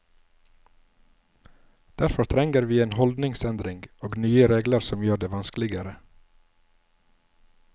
Derfor trenger vi en holdningsendring og nye regler som gjør det vanskeligere.